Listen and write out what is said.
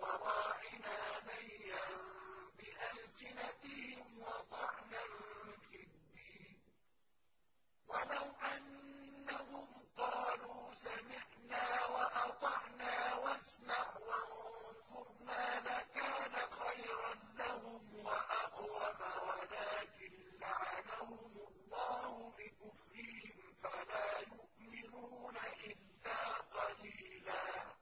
وَرَاعِنَا لَيًّا بِأَلْسِنَتِهِمْ وَطَعْنًا فِي الدِّينِ ۚ وَلَوْ أَنَّهُمْ قَالُوا سَمِعْنَا وَأَطَعْنَا وَاسْمَعْ وَانظُرْنَا لَكَانَ خَيْرًا لَّهُمْ وَأَقْوَمَ وَلَٰكِن لَّعَنَهُمُ اللَّهُ بِكُفْرِهِمْ فَلَا يُؤْمِنُونَ إِلَّا قَلِيلًا